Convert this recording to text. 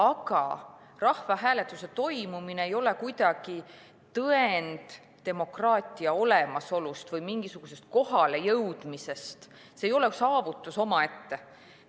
Aga rahvahääletuse toimumine ei ole kuidagi tõend demokraatia olemasolu või mingisuguse kohalejõudmise kohta, see ei ole saavutus omaette.